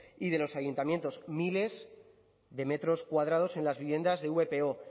y de los ayuntamientos miles de metros cuadrados en las viviendas de vpo